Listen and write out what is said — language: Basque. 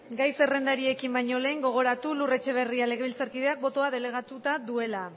gai zerrendariekin bañolehen gogoratu lur etxeberria legebiltzarkideak botoa delegatuta duela